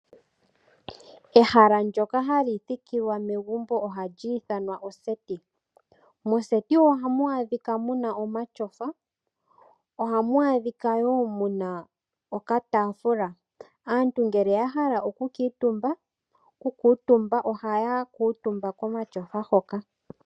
Ehala ndyoka hali thikilwa megumbo ohali ithanwa oseti. Moseti ohamu adhika muna omatyofa. Ohamu adhika woo muna okataafula. Aantu ngele yahala oku kuutumba ohaya kuutumba komatyofa hoka.